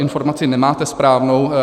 Informaci nemáte správnou.